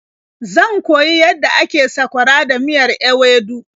Zan koyi yadda ake sakwara da miyar ewedu.